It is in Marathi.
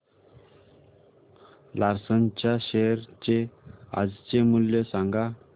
लार्सन च्या शेअर चे आजचे मूल्य सांगा